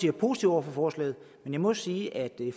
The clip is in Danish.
er positive over for forslaget men jeg må sige at vi